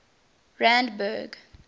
randburg